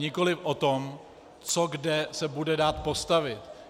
Nikoliv o tom, co kde se bude dát postavit.